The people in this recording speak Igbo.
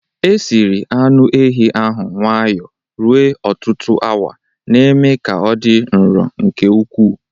Esiri anu ehi ahụ nwayọ ruo ọtụtụ awa, na-eme ka ọ dị nro nke ukwu.